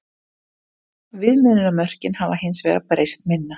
Viðmiðunarmörkin hafa hins vegar breyst minna.